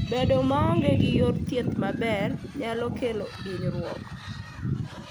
Bedo maonge gi yor thieth maber nyalo kelo hinyruok.